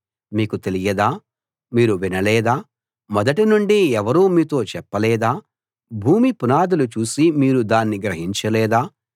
మీకు తెలియదా మీరు వినలేదా మొదటి నుండి ఎవరూ మీతో చెప్పలేదా భూమి పునాదులు చూసి మీరు దాన్ని గ్రహించలేదా